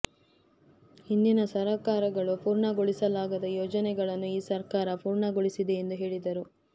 ಹಿಂದಿನ ಸರಕಾರಗಳು ಪೂರ್ಣಗೊಳಿಸಲಾಗದ ಯೋಜನೆಗಳನ್ನು ಈ ಸರಕಾರ ಪೂರ್ಣಗೊಳಿಸಿದೆ ಎಂದು ಹೇಳಿದರು